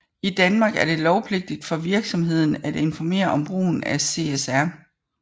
I Danmark er det lovpligtigt for virksomheden at informere om brugen af CSR